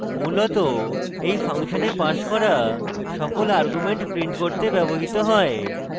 মূলত এই ফাংশনে passed করা সকল arguments print করতে ব্যবহৃত হয়